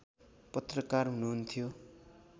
पत्रकार हुनुहुन्थ्यो